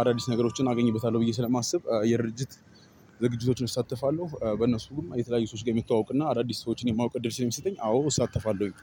አዳዲስ ነገሮችን አገኝበታለሁ ብዬ ስለማስብ የድርጅት ዝግጅቶችን እሳተፋለሁ። በእነሱም የተለያዩ ሰዎች ጋር የመተዋወቅ እና አዳዲስ ሰዎችን የማወቅ እድል ስለሚሰጠኝ አዎ እሳተፋለሁኝ።